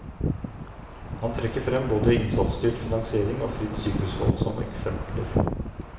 Han trekker frem både innsatsstyrt finansiering og fritt sykehusvalg som eksempler.